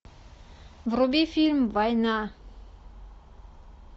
вруби фильм война